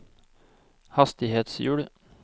hastighetshjul